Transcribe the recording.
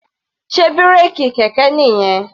Sé bírèkì kẹ̀kẹ́ nìyẹn?